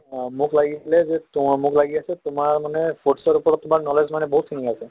অ, মোক লাগিছিলে যে মোক লাগি আছে তোমাৰ মানে sports ৰ ওপৰত তোমাৰ knowledge মানে বহুতখিনি আছে